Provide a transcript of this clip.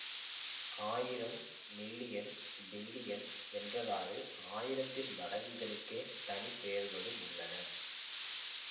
ஆயிரம் million billion என்றவாறு ஆயிரத்தின் மடங்குகளுக்கே தனி பெயர்களும் உள்ளன